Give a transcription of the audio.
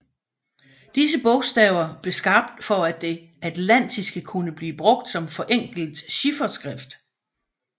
Disse bogstaver blev skabt for at det atlantiske kunne blive brugt som forenklet chifferskrift